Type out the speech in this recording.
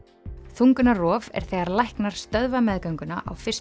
þungunarrof er þegar læknar stöðva meðgönguna á fyrstu